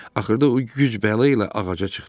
Axırda o güc-bəla ilə ağaca çıxdı.